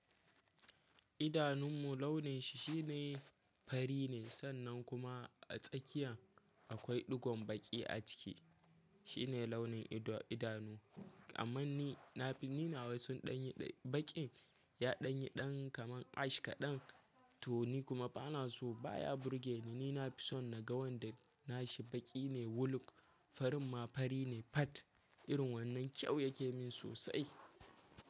Idanun mu launin shi shine fari ne sannan kuma a tsakiya akwai ɗigon baƙi a ciki. Shi ne launin idanu. Amma ni na fi, ni nawa sun ɗanyi baƙi, ya ɗanye ɗan kaman ash kaɗan to ni kuma bana so baya burge ni. Ni na fi son naga wanda nashi baƙi ne wuluk farin ma fari ne fad irin wannan kyau yake min sosai.